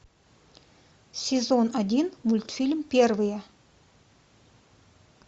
сезон один мультфильм первые